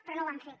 però no ho han fet